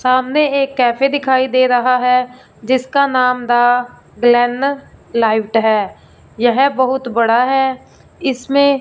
सामने एक कैफे दिखाई दे रहा है जिसका नाम दा ग्लेनर लाइव्ड है यह बहुत बड़ा है इसमें--